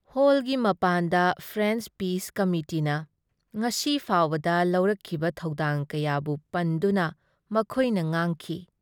ꯍꯣꯜꯒꯤ ꯃꯄꯥꯟꯗ French peace ꯀꯃꯤꯇꯤꯅ ꯉꯁꯤ ꯐꯥꯎꯕꯗ ꯂꯧꯔꯛꯈꯤꯕ ꯊꯧꯗꯥꯡ ꯀꯌꯥꯕꯨ ꯄꯟꯗꯨꯅ ꯃꯈꯣꯏꯅ ꯉꯥꯡꯈꯤ ꯫